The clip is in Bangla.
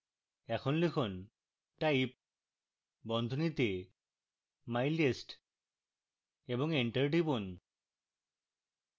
এখন লিখুন type বন্ধনীতে mylist এবং enter টিপুন